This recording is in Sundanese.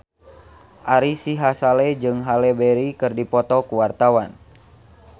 Ari Sihasale jeung Halle Berry keur dipoto ku wartawan